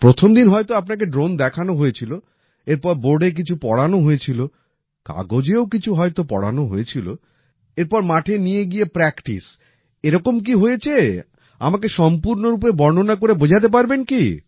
প্রথমদিন হয়তো আপনাকে ড্রোন দেখানো হয়েছিলো এরপর বোর্ডে কিছু পড়ানো হয়েছিলো কাগজেও কিছু হয়তো পড়ানো হয়েছিলো এরপর মাঠে নিয়ে গিয়ে প্র্যাকটিস এরকম কি কী হয়েছে আমাকে সম্পুর্নরূপে বর্ণনা করে বোঝাতে পারবেন কি